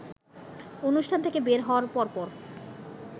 অনুষ্ঠান থেকে বের হওয়ার পরপর